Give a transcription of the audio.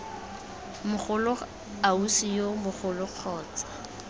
mogolo ausi yo mogolo kgotsa